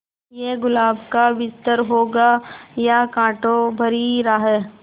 ये गुलाब का बिस्तर होगा या कांटों भरी राह